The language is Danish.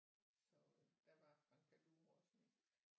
Så der var Frank Panduro også med